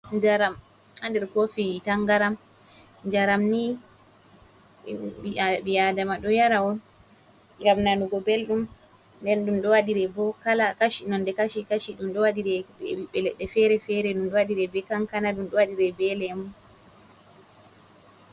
Njaram haa nder kofi tangaram. Njaram ni ɓi aadama ɗo yara on ngam nanugo belɗum, nden ɗum ɗo waɗire bo kala kashi nonde kashi- kashi ɗum ɗo be leɗɗe fere- fere. Ɗum ɗo waɗire be kankana, ɗum ɗo waɗire be lemu.